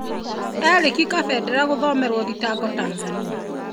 Erick Kabendera gũthomerwob thitango Tanzania.